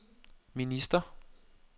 minister